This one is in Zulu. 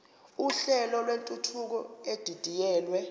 uhlelo lwentuthuko edidiyelwe